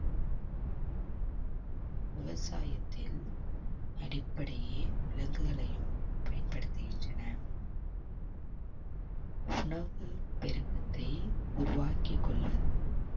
விவசாயத்தில் அடிப்படையே விலங்குகளையும் பயன்படுத்துகின்றன உணவு பெருக்கத்தை உருவாக்கிக் கொள்வது